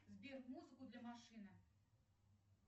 сбер музыку для машины